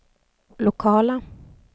lokala